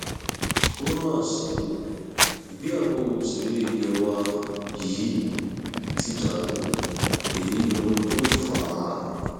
ó mà ṣe o ìgbéyàwó òṣèré ilé wa yìí ti dàrú èyí lóhun tó fà á